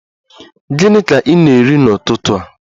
Gịnị ka ị na-eri n'ụtụtụ a?